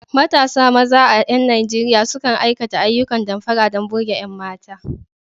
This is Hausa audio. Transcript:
Matasa maza a ƴan Nijeriya sukan aikata ayyukan damfara don burge ƴan mata.